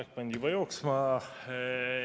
Aeg pandi juba jooksma.